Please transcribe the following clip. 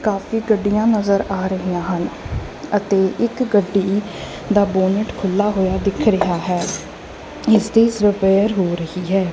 ਕਾਫੀ ਗੱਡੀਆਂ ਨਜ਼ਰ ਆ ਰਹੀਆਂ ਹਨ ਅਤੇ ਇੱਕ ਗੱਡੀ ਦਾ ਬੋਨਟ ਖੁੱਲਾ ਹੋਇਆ ਦਿਖ ਰਿਹਾ ਹੈ ਇਸ ਦੇ ਸ ਰਿਪੇਅਰ ਹੋ ਰਹੀ ਹੈ।